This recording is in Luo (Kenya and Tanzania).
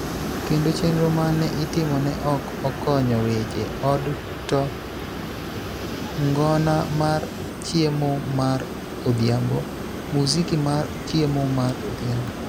kendo chenro ma ne itimo ne ok okonyo weche: od to ngona mar Chiemo mar Odhiambo, Muziki mar Chiemo mar Odhiambo,